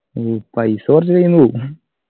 ഉം പൈസ കുറച്ച് കയ്യിന്നു പോവും